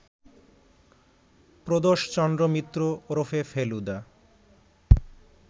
প্রদোষচন্দ্র মিত্র ওরফে ফেলুদা